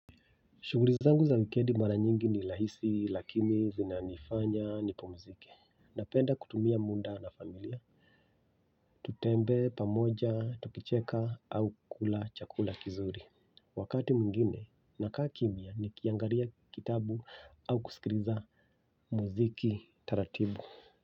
Shughuli zangu za wikendi mara nyingi ni rahisi lakini zinanifanya nipumzike. Napenda kutumia muda na familia. Tutembee pamoja, tukicheka au kukula chakula kizuri. Wakati mwingine nakaa kimya nikiangalia kitabu au kusikiliza muziki taratibu.